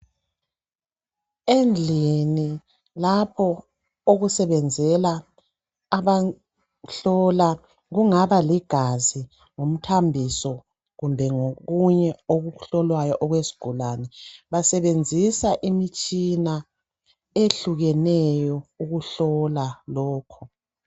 Endlini lapho okusebenzela abahlola kungaba ligazi ngumthambiso kumbe ngokunye okuhlolwayo okwesigulane basebenzisa imitshina eyehlukeneyo ukuhlola lokho.